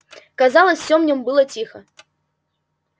казалось всё в нём было тихо